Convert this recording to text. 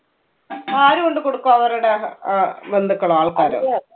ആര് കൊണ്ട് കൊടുക്കും അവരുടെ അഹ് ആഹ് ബന്ധുക്കളോ, ആൾക്കാരോ?